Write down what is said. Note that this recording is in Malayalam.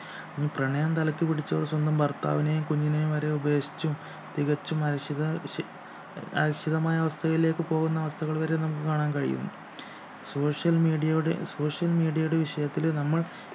പ്രണയം തലക്കുപിടിച്ചവൾ സ്വന്തം ഭർത്താവിനെയും കുഞ്ഞിനെയും വരെ ഉപേക്ഷിച്ചും തികച്ചും അരക്ഷിത ശ് ഏർ അരക്ഷിതമായ അവസ്ഥയിലേക്ക് പോകുന്ന അവസ്ഥകൾ വരെ നമുക്ക് കാണാൻ കഴിയും social media യുടെ social media യുടെ വിഷയത്തിൽ നമ്മൾ